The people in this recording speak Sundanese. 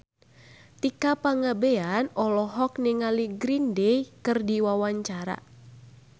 Tika Pangabean olohok ningali Green Day keur diwawancara